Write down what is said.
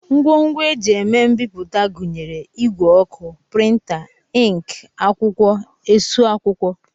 Ngwongwo e ji eme mbipụta gụnyere ìgwè ọkụ, prịnta, ịnkị, akwụkwọ, esu akwụkwọ